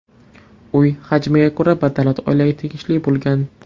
Uy, hajmiga ko‘ra, badavlat oilaga tegishli bo‘lgan.